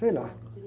Sei lá.